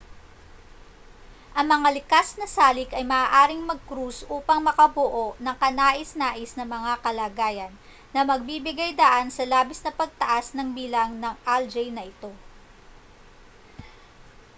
ang mga likas na salik ay maaaring magkrus upang makabuo ng kanais-nais na mga kalagayan na magbibigay-daan sa labis na pagtaas ng bilang ng algae na ito